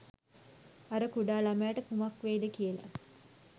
අර කුඩා ළමයට කුමක් වෙයිද කියල